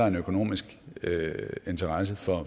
en økonomisk interesse for